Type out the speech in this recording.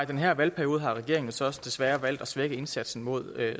her valgperiode har regeringen så også desværre valgt at svække indsatsen mod